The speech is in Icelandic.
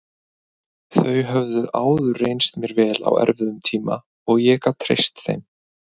Þau höfðu áður reynst mér vel á erfiðum tíma og ég gat treyst þeim.